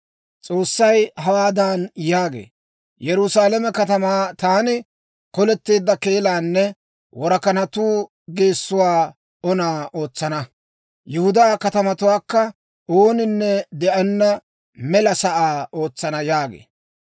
S'oossay hawaadan yaagee; «Yerusaalame katamaa taani koleteedda keelaanne worakanatuu geessuu ona ootsana. Yihudaa katamatuwaakka ooninne de'enna mela sa'aa ootsana» yaagee.